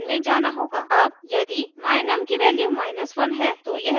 अब यदि my_num की वैल्यू 1 है तो यह जांचेगा